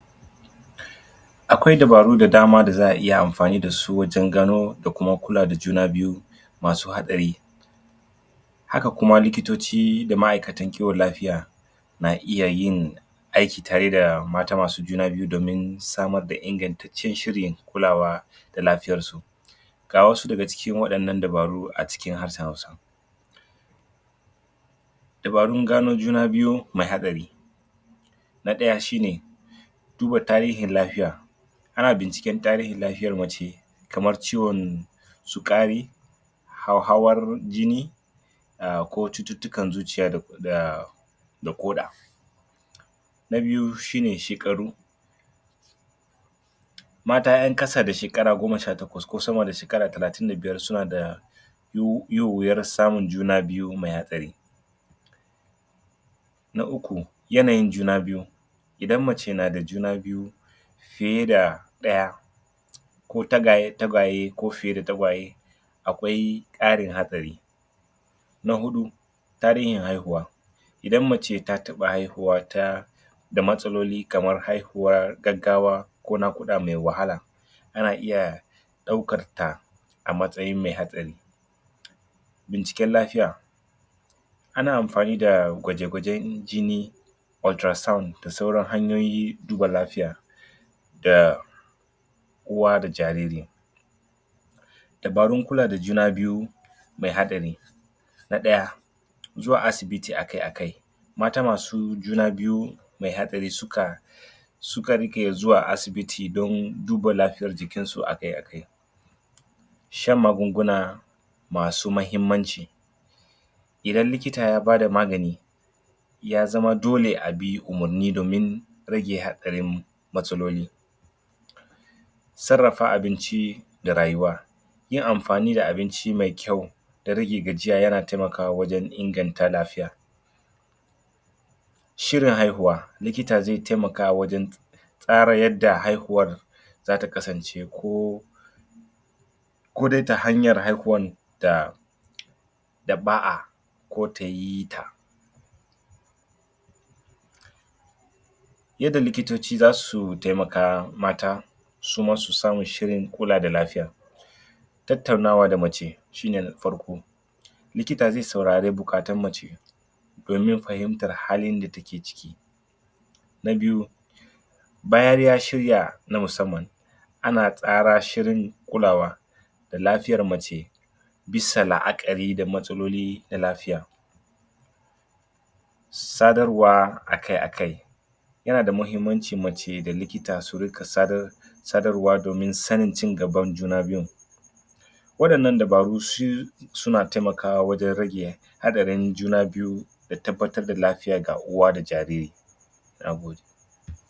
Akwai dabaru da dama daza'a iya amfani dasu wajen gano da kuma kula juna biyu masu haɗari haka kuma likitoci da ma'aikatan kiwon lafiya na iya yin aiki tare da mata masu juna biyu domin samar da ingantancen shirin kulawa da lafiyarsu ga wasu daga cikin waɗannan dabaru a cikin harshen hausa dabarun gano juna biyu mai haɗari: na ɗaya shine: duba tarihin lafiya ana binciken tarihin lafiyan mace kaman ciwon su kari hauwawar jini ko cuttutukan zuciya da koɗa na biyu shine shekaru; mata yan kasa da shekara goma sha takwas ku sama da shekara talatin da biyar suna da yin wiyan samun juna biyu mai hatsari na uku yanayin juna biyu idan mace nada juna biyu fiye da ɗaya ko tagwaye-tagwaye ko fiye da tagwaye akwai karin haɗari na hudu tarihin haihuwa idan mace ta taba haihuwa da matsaloli kaman haihuwan gaggawa ko nakuda mai wahala tana iya daukar ta a matsayin mai haɗari binciken lafiya na amfani da gwaje gwajen jini ultrasound da sauran hanyoyin duba lafiya da..... uwa da jariri dabarun kula da juna biyu mai haɗari na ɗaya zuwa asibiti akai akai mata masu juna biyu mai haɗari suka... suka rika zuwa asibitidon duba lafiyan jikinsu akai akai shan magunguna masu muhimmanci idan likita ya bada magani ya zama dole abi umarni domin rage haɗarin matsaloli sarrafa abinci da rayuwa yin amfani da abinci mai kyau da rage gajiya yana taimaka wajen inganta lafiya shirin haihuwa: likita zai taimakwa wajen tsara yadda haihuwan zata kasance koh ko dai ta hanyar haihuwar da... da ba'a ko ta yita yadda likitoci zau taimaka mata suma su sama shirin kula da lafiya tattaunawa da mace shine na farko likita zai saurara bukaton mace domin fahimtar halin da take ciki na biyu bayan ya shirya na musamman ana tsara shirin kulawa da lafiyar mace bisa la'akari da matsaloli na lafiya sadarwa akai akai yanada kyau mace da likita su riga sadrwa akai akai sadarwa domin sanin cigaban juna biyun wadanan dabaru su.. suna taimakwa wajen rage haɗarin juna biyu da tabbatar da lafiya ga uwa da jariri Nagode.